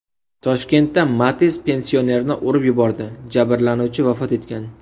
Toshkentda Matiz pensionerni urib yubordi, jabrlanuvchi vafot etgan.